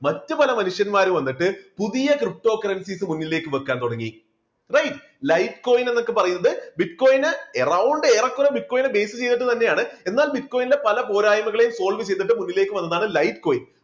മറ്റുപല മനുഷ്യന്മാര് വന്നിട്ട് പുതിയ ptocurrencies മുന്നിലേക്ക് വെക്കാൻ തുടങ്ങി. light coin എന്നൊക്കെ പറയുന്നത് bitcoin ന് around ഏറെകുറെ bitcoin നെ base ചെയ്തിട്ട് തന്നെയാണ് എന്നാൽ bitcoin ന്റെ പല പോരായ്മകളെ solve ചെയ്തിട്ട് മുന്നിലേക്ക് വന്നതാണ് light coin